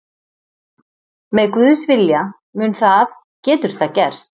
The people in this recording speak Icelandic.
Með Guðs vilja, mun það, getur það gerst.